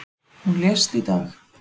Hún lést í dag.